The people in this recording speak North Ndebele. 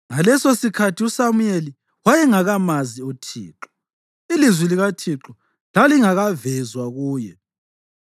Ngalesosikhathi uSamuyeli wayengakamazi uThixo: Ilizwi likaThixo lalingakavezwa kuye.